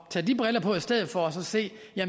tage de briller på i stedet for og se